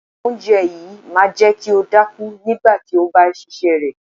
Oúnjẹ yìí máa jẹ́ kí o dákú nígbà tí o bá ṣíṣe rẹ.